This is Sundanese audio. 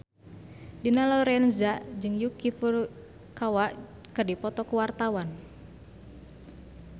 Dina Lorenza jeung Yuki Furukawa keur dipoto ku wartawan